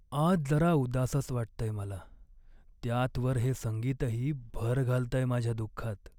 आज जरा उदासच वाटतंय मला, त्यात वर हे संगीतही भर घालतंय माझ्या दुःखात.